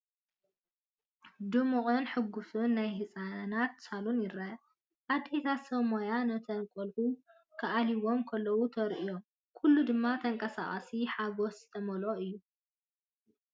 ድሙቕን ሕጉስን ናይ ህጻናት ሳሎን ይርአ። ኣዴታትን ሰብ ሞያን ነቶም ቈልዑ ክኣልይዎም ከለዉ ተራእዮም፡ ኩሉ ድማ ተንቀሳቓሲ ሓጐስ ዝተመልአ እዩ።